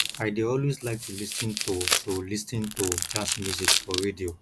i dey always like to lis ten to to lis ten to jazz music for radio